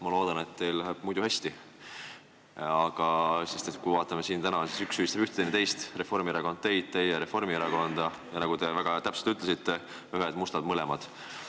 Ma loodan, et teil läheb muidu hästi, sest täna siin üks süüdistab ühte, teine teist, Reformierakond süüdistab teid, teie Reformierakonda, ja nagu te väga täpselt ütlesite, ühed mustad mõlemad.